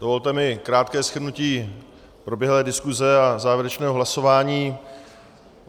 Dovolte mi krátké shrnutí proběhlé diskuse a závěrečného hlasování.